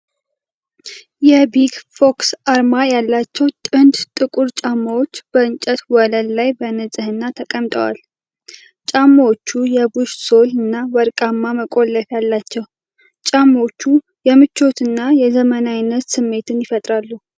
የ"ቢግ ፎክስ" አርማ ያለባቸው ጥንድ ጥቁር ጫማዎች በእንጨት ወለል ላይ በንጽህና ተቀምጠዋል። ጫማዎቹ የቡሽ ሶል እና ወርቃማ መቆለፊያ አላቸው። ጫማዎቹ የምቾትና የዘመናዊነት ስሜትን ይፈጥራሉ።